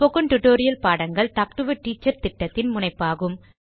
spoken tutorial பாடங்கள் talk to a teacher திட்டத்தின் முனைப்பாகும்